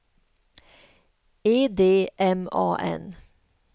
E D M A N